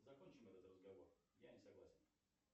закончим этот разговор я не согласен